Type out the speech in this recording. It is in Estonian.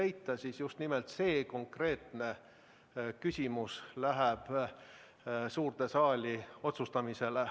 Kui seda konsensust ei leita, siis konkreetne küsimus läheb suurde saali otsustamisele.